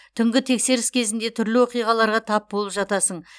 түнгі тексеріс кезінде түрлі оқиғаларға тап болып жатасың